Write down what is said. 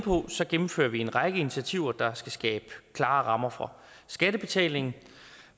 gennemfører vi en række initiativer der skal ske klare rammer for skattebetaling